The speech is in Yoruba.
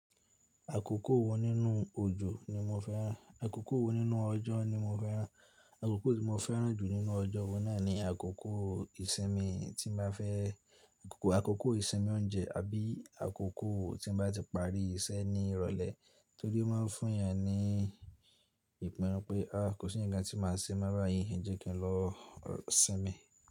Àkókò wo nínú òjò ni mo fẹ́ràn? Àkókò wo nínú ọjọ́ ni mo fẹ́ràn? Àkókò tí mo fẹ́ràn jù nínú ọjọ́ wo náà ni àkókò ìsinmi tí n bá fẹ́. Àkókò ìsinmi oúnjẹ àbí àkókò tí n bá ti parí iṣẹ́ ní ìrọ̀lẹ́ torí ó má n fún èèyàn ní ìpinnu pé a, kò sí ǹkan tí màá ṣe mọ́ bayìí, jẹ́ kí n lọ sinmi.